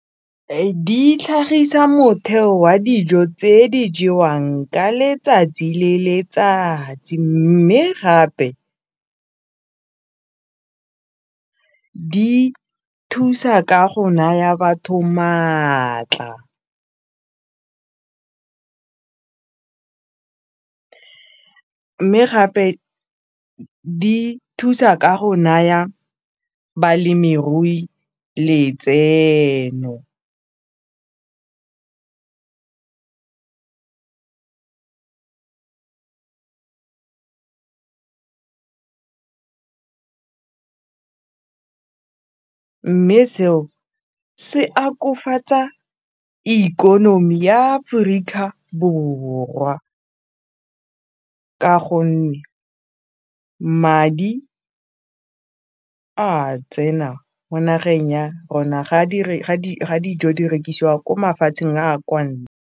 Di tlhagisa motheo wa dijo tse di jewang ka letsatsi le letsatsi mme gape di thusa ka go naya batho maatla mme gape di thusa ka go naya balemirui letseno mme seo se akofatsa ikonomi ya Aforika Borwa ka gonne madi a tsena mo nageng ya rona ga dijo di rekisiwa ko mafatsheng a .